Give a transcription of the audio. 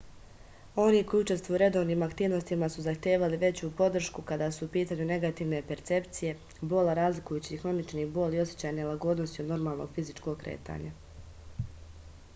oni koji učestvuju u redovnim aktivnostima su zahtevali veću podršku kada su u pitanju negativne percepcije bola razlikujući hronični bol i osećaj nelagodnosti od normalnog fizičkog kretanja